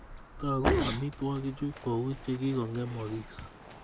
Toku amitwogichu kou che kikongemogis